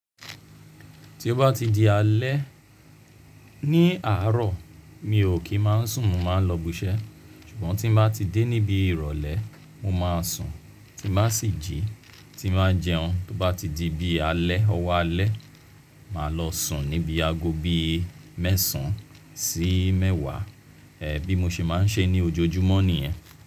Tí o bá ti di alẹ́, ní àárọ̀ mi ò kí máa sùn, mo máa lọ biṣẹ́. Ṣùgbọ́n tí mo bá ti dé níbi ìrọ̀lẹ́, mo máa sùn, tí mo bá sì jí, tí mo bá jẹun tó bá ti di bí alẹ́, ọwọ́ alẹ́, màá lọ sùn níbi aago bí mẹ́sàn án sí mẹ́wàá, bí mo ṣe máa ń ṣe ní ojoojúmọ́ nìyẹn.